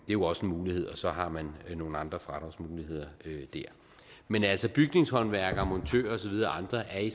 jo også en mulighed og så har man nogle andre fradragsmuligheder der men altså bygningshåndværkere montører og så videre og andre er i